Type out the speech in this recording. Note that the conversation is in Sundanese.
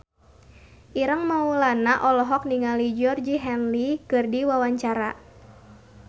Ireng Maulana olohok ningali Georgie Henley keur diwawancara